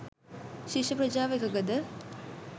ශිෂ්‍ය ප්‍රජාව එකඟද?